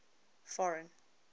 foreign